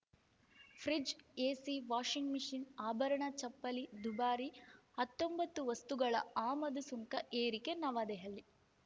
fridge AC washing machine ಆಭರಣ ಚಪ್ಪಲಿ ದುಬಾರಿ ಹತ್ತೊಂಬತ್ತು ವಸ್ತುಗಳ ಆಮದು ಸುಂಕ ಏರಿಕೆ ನವದೆಹಲಿ